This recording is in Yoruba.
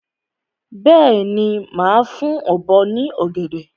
Bẹ́ẹ̀ni, màá fún ọ̀bọ ní ọ̀gẹ̀dẹ̀.